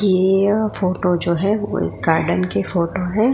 ये फोटो जो है वो एक गार्डन के फोटो है।